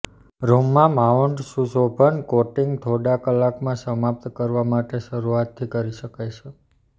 રૂમમાં માઉન્ટ સુશોભન કોટિંગ થોડા કલાકમાં સમાપ્ત કરવા માટે શરૂઆતથી કરી શકાય છે